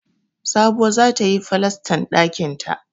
Sabuwa za ta yi falastan ɗakinta